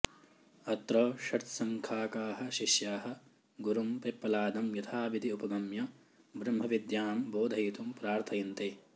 अत्र षट्सङ्खाकाः शिष्याः गुरुं पिप्पलादं यथाविधि उपगम्य ब्रह्मविद्यां बोधयितुं प्रार्थयन्ते